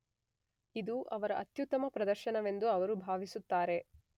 ಇದು ಅವರ ಅತ್ಯುತ್ತಮ ಪ್ರದರ್ಶನವೆಂದು ಅವರು ಭಾವಿಸುತ್ತಾರೆ.